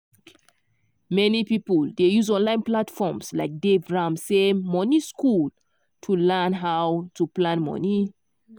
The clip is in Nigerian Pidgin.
many people dey use online platforms like dave ramsey money school to learn how to plan money.